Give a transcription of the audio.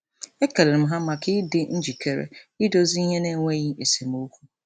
Ekelere m ha maka ịdị njikere idozi ihe n'enweghị esemokwu.